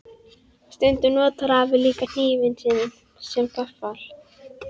Stundum notar afi líka hnífinn sinn sem gaffal.